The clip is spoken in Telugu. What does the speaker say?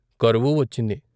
కరువు వచ్చింది.